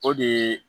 O de ye